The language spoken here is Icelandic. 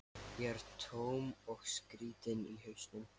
Ég er tóm og skrýtin í hausnum.